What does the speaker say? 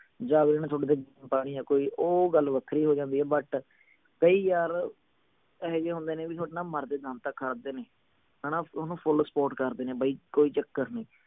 ਜਾ ਜਿਹਨੂੰ ਥੋਡੇ ਤੇ ਯਾ ਕੋਈ ਉਹ ਗੱਲ ਵੱਖਰੀ ਹੋ ਜਾਂਦੀ ਆ but ਕਈ ਯਾਰ ਏਹੋਜੇ ਹੁੰਦੇ ਨੇ ਵੀ ਥੋਡੇ ਨਾਲ ਮਰਦੇ ਦਮ ਤਕ ਖੜਦੇ ਨੇ ਹਣਾ ਥੋਨੂੰ full support ਕਰਦੇ ਨੇ ਬਈ ਕੋਈ ਚੱਕਰ ਨਹੀਂ